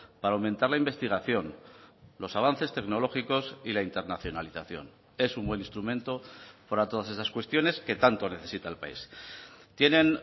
para aumentar la investigación los avances tecnológicos y la internacionalización es un buen instrumento para todas esas cuestiones que tanto necesita el país tienen